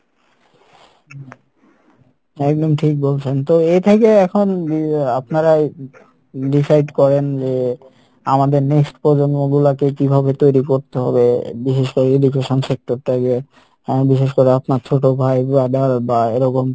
একদম ঠিক বলেছেন তো আপনারা decide করেন যে আমাদের next প্রজন্ম গুলাকে কীভাবে তৈরী করতে হবে বিশেষ করে education sector টাকে আহ বিশেষ করে আপনার ছোট ভাই brother বা এরকম